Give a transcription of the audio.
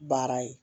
Baara ye